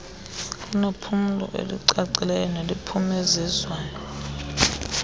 kunephulo elicacileyo neliphumenzezwayo